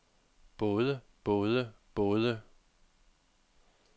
både både både